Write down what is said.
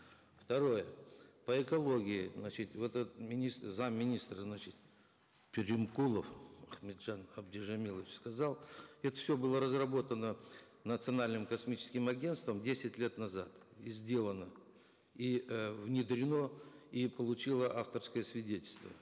второе по экологии значит вот этот зам министра значит перимкулов ахметжан абдижамилович сказал это все было разработано национальным космическим агентством десять лет назад и сделано и э внедрено и получило авторское свидетельство